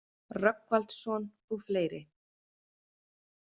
Rögnvaldsson og fleiri.